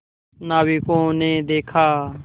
नाविकों ने देखा